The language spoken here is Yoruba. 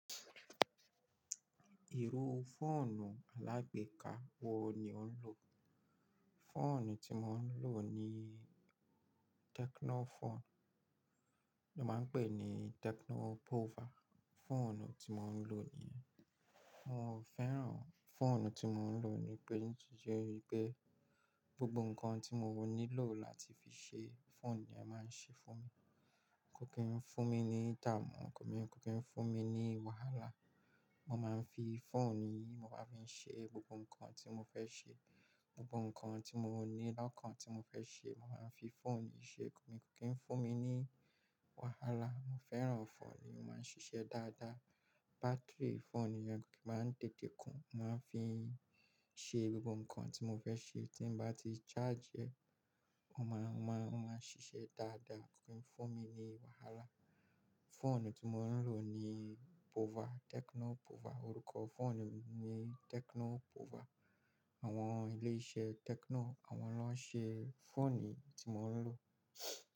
Ìrù fóònù alágbèéká wo ni ò ń lò? Fóònù tí mo ń lò ni Tecno fóònù. Lo máa ń pè ní Tecno Pouvoir. Fóònù tí mo ń lò nìyẹn. Mo fẹ́ràn fóònù tí mo ń lò níbẹ̀ ní ìyè pé gbogbo nǹkan tí mo nílò láti fi ṣe fóònù ni ẹ máa ń ṣe fún mi. Kò kí ń fún mi ní ìdààmú, kò kí ń fún mi ní wàhálà. Mo máa ń fi fóònù yìí, mo máa fi ń ṣe gbogbo nǹkan tí mo fẹ́ ṣe. Gbogbo nǹkan tí mo nílò, nǹkan tí mo fẹ́ ṣe, mo máa ń fi fóònù yìí ṣe, kò kí ń fún mi ní wàhálà. Mo fẹ́ràn fóònù yìí, ó máa ń ṣiṣẹ́ dáadáa. Báátìrì fóònù yìí kò kí máa ń tètè kún. Mo máa ń fi ń ṣe gbogbo nǹkan tí mo fẹ́ ṣe. Tí mo bá ti ṣáàjì ẹ, ó máa, ó máa, ó máa ṣiṣẹ́ dáadáa, kò kí ń fún mi ní wàhálà. Fóònù tí mo ń lò ni Pouvoir, Tecno Pouvoir. Orúkọ fóònù mi ni Tecno Pouvoir. Àwọn ilé-iṣẹ́ Tecno, àwọn ló ń ṣe fóònù tí mo ń lò.